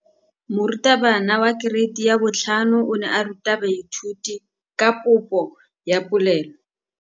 Moratabana wa kereiti ya 5 o ne a ruta baithuti ka popô ya polelô.